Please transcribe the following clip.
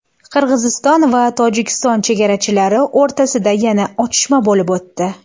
Qirg‘iziston va Tojikiston chegarachilari o‘rtasida yana otishma bo‘lib o‘tdi.